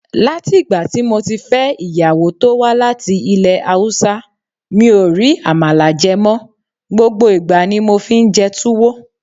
Látì'gbàtí moti fẹ́ ìyàwó tówá láti ilé Haúsá, mi ò rí Àmàlà jẹ mọ, gbogbo ìgbà ni mofi ńjẹ Túwó.